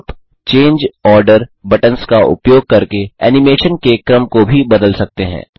आप change order buttons का उपयोग करके एनिमेशन के क्रम को भी बदल सकते हैं